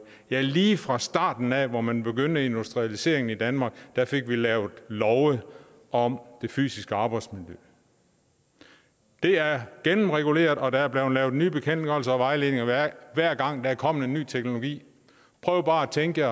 ja lige fra starten af hvor man begyndte industrialiseringen i danmark fik vi lavet love om det fysiske arbejdsmiljø det er gennemreguleret og der er blevet lavet nye bekendtgørelser og vejledninger hver gang der er kommet en ny teknologi prøv bare at tænke